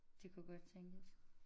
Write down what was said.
Det kunne godt tænkes